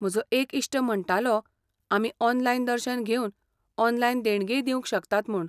म्हजो एक इश्ट म्हणटालो आमी ऑनलायन दर्शन घेवन ऑनलायन देणगीय दिवंक शकतात म्हूण.